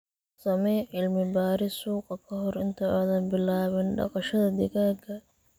Samee cilmi-baaris suuqa ka hor inta aanad bilaabin dhaqashada digaagga.